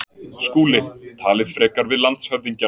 SKÚLI: Talið frekar við landshöfðingjann.